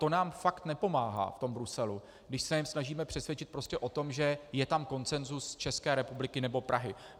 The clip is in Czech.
To nám fakt nepomáhá v tom Bruselu, když se je snažíme přesvědčit prostě o tom, že je tam konsenzus České republiky nebo Prahy.